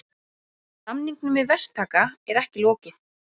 Samningum við verktaka er ekki lokið